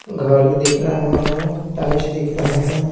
घड़ी दिख रहा है टाइल्स दिख रहा है।